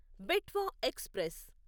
Betwa express